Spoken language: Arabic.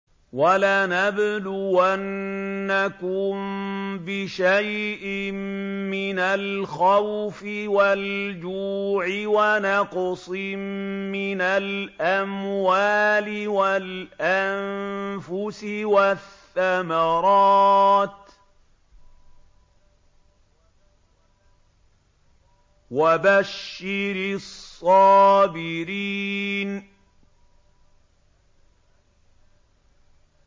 وَلَنَبْلُوَنَّكُم بِشَيْءٍ مِّنَ الْخَوْفِ وَالْجُوعِ وَنَقْصٍ مِّنَ الْأَمْوَالِ وَالْأَنفُسِ وَالثَّمَرَاتِ ۗ وَبَشِّرِ الصَّابِرِينَ